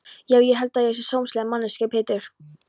Já ég held að ég sé sómasamleg manneskja Pétur.